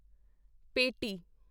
ਪਟੇਟੀ